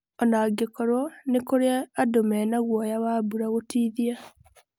Onangĩkorwo nĩ kũrĩ andũ mena guoya wa mbura gũtithia.